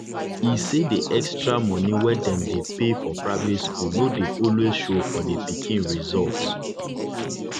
e say the extra money wey dem dey pay for private school no dey always show for the pikin result